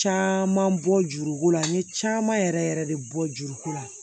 Caman bɔ juruko la n ye caman yɛrɛ yɛrɛ de bɔ juruko la